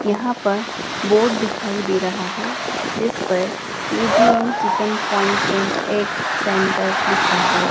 यहां पर बोर्ड दिखाई दे रहा है जिस पर K G N chicken point and egg centre लिखा हुआ--